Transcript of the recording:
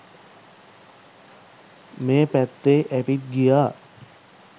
මේ පැත්තේ ඇවිත් ගියා